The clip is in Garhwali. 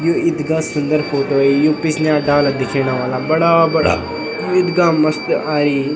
यु इथगा सुन्दर फोटो यु पिछने डाला दिखेणा वाला बड़ा बड़ा इथगा मस्त आई।